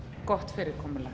gott fyrirkomulag